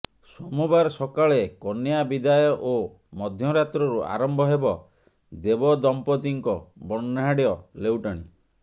ସୋମବାର ସକାଳେ କନ୍ୟା ବିଦାୟ ଓ ମଧ୍ୟରାତ୍ରରୁ ଆରମ୍ଭ ହେବ ଦେବଦମ୍ପତିଙ୍କ ବର୍ଣ୍ଣାଢ୍ୟ ଲେଉଟାଣୀ